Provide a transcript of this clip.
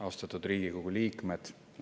Austatud Riigikogu liikmed!